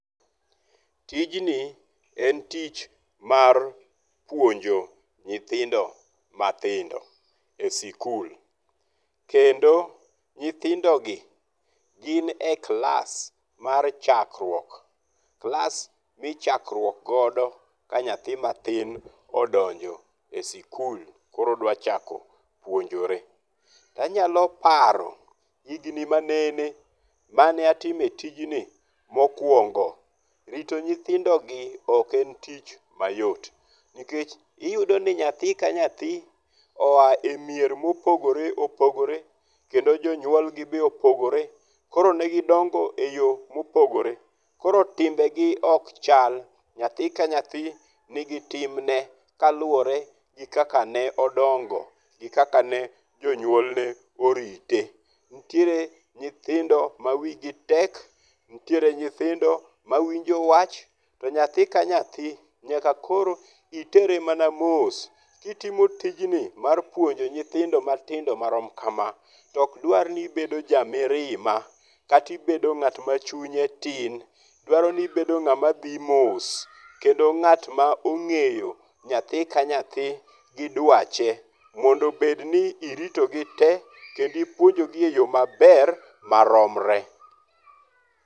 Tijni e tich mar puonjo nyithindo mathindo e sikul. Kendo nyithindo gi gin e klas mar chakruok. Klas michakruok godo ka nyathi mathin odonjo e sukul koro odwaro chako puonjore. To anyalo paro higni manene mane atime tijni mokwongo. Rito nyithindo gi ok en tich mayot. Nikech iyudo ni nyathi ka nyathi oya e mier mopogore opogore kendo jonyuol gi be opogore. Koro ne gindongo e yo mopogore. Koro timbe gi ok chal. Nyathi ka nyathi ni gi timne ka luwore gi kaka ne odongo gi kaka ne jonyuolne ne orite. Nitiere nyithindo ma wi gi tek. Nitiere nyithindo mawinjo wach. To nyathi ka nyathi nyaka koro itere mana mos kitimo tijni mar puonjo nyithindo matindo marom kama. To ok dwar ni ibedo ja mirima kata ibedo ng'at ma chunye tin. Dwaro ni ibedo ng'ama dhi mos. Kendo ng'at ma ong'eyo nyathi ka nyathi gi dwache mondo obed ni irito gi te kendo ipuonjo gi eyo maber maromre.